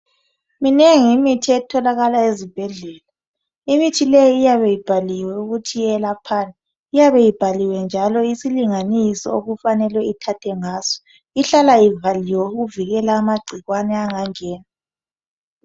Minengi imithi etholakala ezibhedlela. Imithi leyi iyabe ibhaliwe ukuthi yelaphani iyabe ibhaliwe njalo isilinganiso okufanele ithathwe ngaso, ihlala ivaliwe ukuvikela amagcikwane angangena.